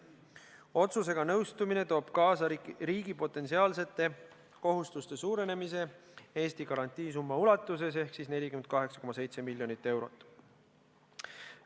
Otsusega nõustumine toob kaasa riigi potentsiaalsete kohustuste suurenemise Eesti garantiisumma ulatuses ehk 48,7 miljonit eurot.